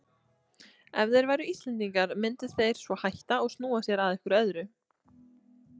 Ef þeir væru Íslendingar myndu þeir svo hætta og snúa sér að einhverju öðru.